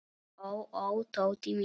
Ó, ó, Tóti minn.